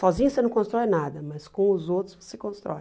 Sozinho você não constrói nada, mas com os outros você constrói.